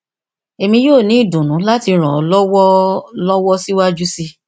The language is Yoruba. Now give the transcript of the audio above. emi yoo ni idunnu lati ran ọ lọwọ ọ lọwọ siwaju sii